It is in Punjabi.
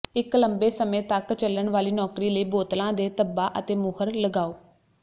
ਇੱਕ ਲੰਬੇ ਸਮੇਂ ਤਕ ਚੱਲਣ ਵਾਲੀ ਨੌਕਰੀ ਲਈ ਬੋਤਲਾਂ ਦੇ ਧੱਬਾ ਅਤੇ ਮੁਹਰ ਲਗਾਓ